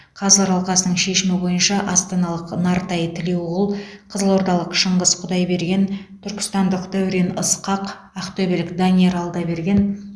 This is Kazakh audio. қазылар алқасының шешімі бойынша астаналық нартай тілеуқұл қызылордалық шыңғыс құдайберген түркістандық дәурен ысқақ ақтөбелік данияр алдаберген